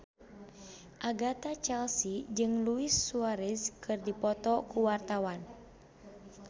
Agatha Chelsea jeung Luis Suarez keur dipoto ku wartawan